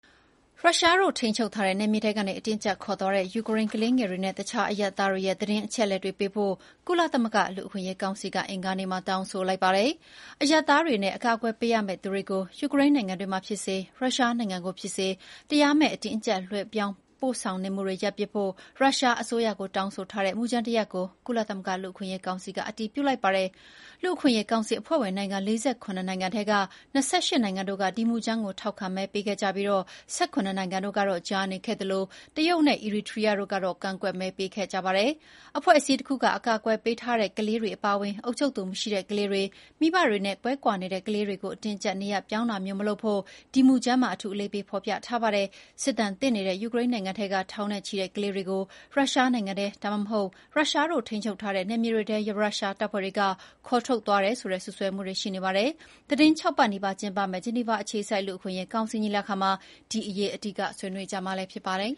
ရုရှားတို့ ထိန်းချုပ်ထားတဲ့နယ်မြေထဲကနေ အတင်းအကြပ်ခေါ်သွားခံရတဲ့ ယူကရိန်းကလေးငယ်တွေနဲ့ အခြားအရပ်သားတွေရဲ့ သတင်းအချက်အလက်တွေပေးဖို့ ကုလသမဂ္ဂလူ့အခွင့်အရေးကောင်စီက အင်္ဂါနေ့မှာ တောင်းဆိုလိုက်ပါတယ်။ အရပ်သားတွေနဲ့ အကာကွယ်ပေးရမယ့်သူတွေကို ယူကရိန်းနိုင်ငံတွင်းမှာ ဖြစ်စေ၊ ရုရှားနိုင်ငံကိုဖြစ်စေ တရားမဲ့ အတင်းအကြပ် ရွှေ့ပြောင်းပို့ဆောင်နေမှုတွေ ရပ်ပစ်ဖို့ ရုရှားအစိုးရကိုတောင်းဆိုထားတဲ့ မူကြမ်းတရပ်ကို ကုလသမဂ္ဂလူ့အခွင့်အရေးကောင်စီက အတည်ပြုလိုက်ပါတယ်။ လူ့အခွင့်အရေးကောင်စီ အဖွဲ့ဝင်နိုင်ငံ ၄၇ နိုင်ငံထဲက ၂၈ နိုင်ငံတို့က ဒီမူကြမ်းကို ထောက်ခံမဲပေးခဲ့ကြပြီး ၁၇ နိုင်ငံတို့က ကြားနေခဲ့သလို တရုတ်နဲ့ အီရီထရီးယားတို့က ကန့်ကွက်မဲပေးခဲ့ကြပါတယ်။ အဖွဲ့အစည်းတခုက အကာအကွယ်ပေးထားတဲ့ ကလေးတွေအပါအဝင် အုပ်ချုပ်သူမရှိတဲ့ကလေးတွေ၊ မိဘတွေနဲ့ကွဲနေတဲ့ကလေးတွေကို အတင်းအကြပ်နေရပ်ပြောင်းတာမျိုးမလုပ်ဖို့ ဒီမူကြမ်းမှာ အထူးအလေးပေးဖော်ပြထားပါတယ်။ စစ်ဒဏ်သင့်နေတဲ့ ယူကရိန်းနိုင်ငံထဲက ထောင်နဲ့ချီတဲ့ကလေးတွေကို ရုရှားနိုင်ငံထဲ ဒါမှမဟုတ် ရုရှားတို့ထိန်းချုပ်ထားတဲ့နယ်မြေတွေထဲ ရုရှားတပ်ဖွဲ့တွေက ခေါ်ထုတ်သွားတယ်ဆိုတဲ့ စွပ်စွဲမှုတွေရှိနေပါတယ်။ သီတင်း ၆ ပတ်နီးပါးကျင်းပမယ့် ဂျနီဗာအခြေစိုက် လူ့အခွင့်အရေးကောင်စီညီလာခံမှာ ဒီအရေး အဓိက ဆွေးနွေးကြမှာလည်းဖြစ်ပါတယ်။